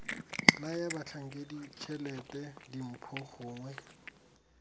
naya batlhankedi tshelete dimpho gongwe